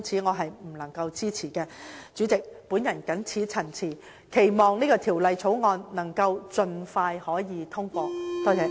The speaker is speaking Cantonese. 代理主席，我謹此陳辭，期望《條例草案》能盡快獲得通過。